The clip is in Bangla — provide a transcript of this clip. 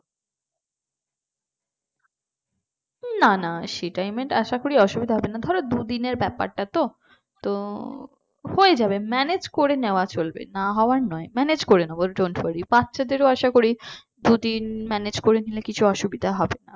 না না সেই টাইমে আশা করি অসুবিধা হবে না ধরো দুদিনের ব্যাপার টা তো তো হয়ে যাবে manage করে নেওয়া চলবে না হওয়ার নয় manage করে নেব dont worry বাচ্চাদের ও আশা করি দুদিন manage করে নিলে কিছু অসুবিধা হবে না